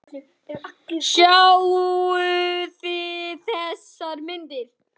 Sáuð þið þessar myndir?